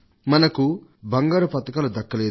మనకు బంగారు పతకం దక్కలేదు